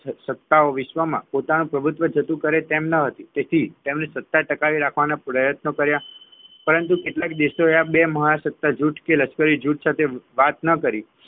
સત્તાઓ વિશ્વમાં પોતાનું પ્રભુત્વ જતું કરે તેમ ન હતી તેથી તેમને સત્તા ટકાવી રાખવા પ્રયત્ન કર્યા પરંતુ કેટલાક દેશોએ આ બે મહાસત્તા જૂથ લશ્કરી જૂથ સાથે વાત ન કરી